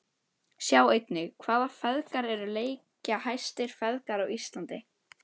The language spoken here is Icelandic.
Sjá einnig: Hvaða feðgar eru leikjahæstu feðgar á Íslandi?